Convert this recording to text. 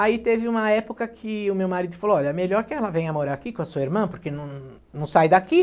Aí teve uma época que o meu marido falou, olha, melhor que ela venha morar aqui com a sua irmã, porque não não sai daqui.